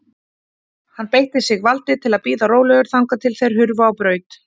Hann beitti sig valdi til að bíða rólegur þangað til þeir hurfu á braut.